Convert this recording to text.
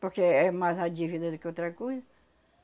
Porque é é mais a dívida do que outra coisa.